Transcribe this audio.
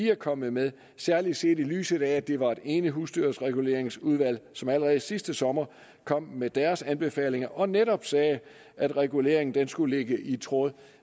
er kommet med særlig set i lyset af at det var et enigt husdyrreguleringsudvalg som allerede sidste sommer kom med deres anbefalinger og netop sagde at reguleringen skulle ligge i tråd